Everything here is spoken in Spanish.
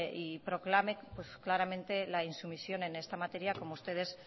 y proclame claramente la insumisión en esta materia como ustedes